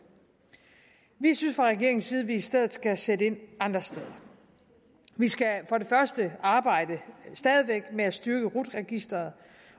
vi synes fra regeringens side at vi i stedet skal sætte ind andre steder vi skal for det første væk arbejde med at styrke rut registeret